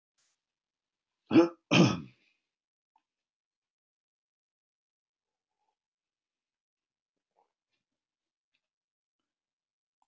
Afi, ég get ekki sofið hvíslaði hún og ýtti í afa sinn.